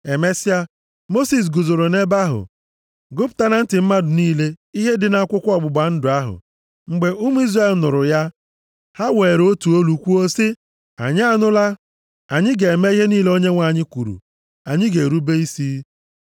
Emesịa, Mosis guzoro nʼebe ahụ gụpụta na ntị mmadụ niile, ihe dị nʼAkwụkwọ Ọgbụgba ndụ ahụ. Mgbe ụmụ Izrel nụrụ ya, ha weere otu olu kwuo sị, “Anyị anụla, anyị ga-eme ihe niile Onyenwe anyị kwuru. Anyị ga-erube isi.”